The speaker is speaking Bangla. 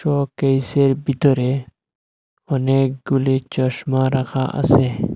শোকেসের ভিতরে অনেকগুলি চশমা রাখা আসে।